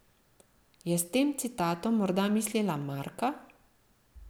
Je s tem citatom morda mislila Marka?